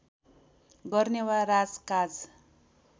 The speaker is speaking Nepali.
गर्ने वा राजकाज